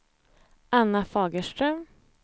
Anna Fagerström